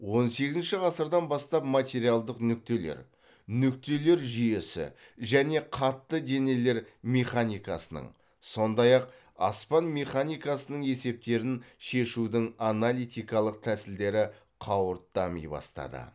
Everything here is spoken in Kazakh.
он сегізінші ғасырдан бастап материалдық нүктелер нүктелер жүйесі және қатты денелер механикасының сондай ақ аспан механикасының есептерін шешудің аналитикалық тәсілдері қауырт дами бастады